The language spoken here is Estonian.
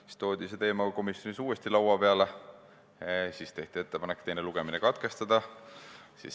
Siis toodi see teema komisjonis uuesti laua peale ja tehti ettepanek teine lugemine katkestada.